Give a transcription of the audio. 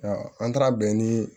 an taara bɛn nii